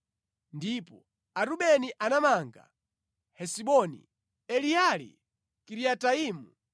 Ndipo Arubeni anamanga Hesiboni, Eleali, Kiriataimu,